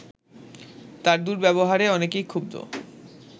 তার দুর্ব্যবহারে অনেকেই ক্ষুব্ধ